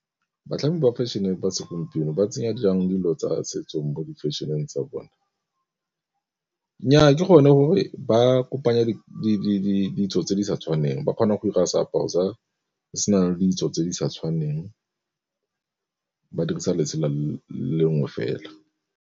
Batlhami ba fashion-e ba segompieno ba tsenya jang dilo tsa setso mo di-fashion-eng tsa bone. Nnyaa ke gone gore ba kopanya ditso tse di sa tshwaneng ba kgona go ira seaparo se na le ditso tse di sa tshwaneng ba dirisa letsela le lengwe fela.